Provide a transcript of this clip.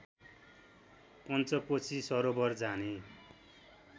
पञ्चकोसी सरोवर जाने